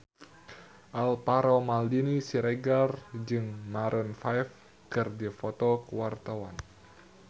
Alvaro Maldini Siregar jeung Maroon 5 keur dipoto ku wartawan